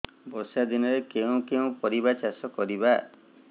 ବର୍ଷା ଦିନରେ କେଉଁ କେଉଁ ପରିବା ଚାଷ କରିବା